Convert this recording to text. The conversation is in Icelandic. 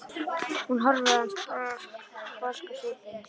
Hún horfir á hann sposk á svipinn.